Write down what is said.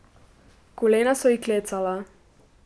Kolena so ji klecala.